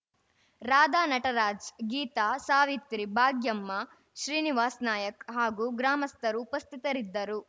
ರಾಧಾ ನಟರಾಜ್‌ ಗೀತಾ ಸಾವಿತ್ರಿ ಭಾಗ್ಯಮ್ಮ ಶ್ರೀನಿವಾಸ್‌ ನಾಯಕ್ ಹಾಗೂ ಗ್ರಾಮಸ್ಥರು ಉಪಸ್ಥಿತರಿದ್ದರು